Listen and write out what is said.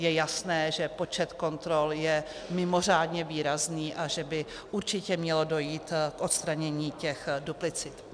Je jasné, že počet kontrol je mimořádně výrazný a že by určitě mělo dojít k odstranění těch duplicit.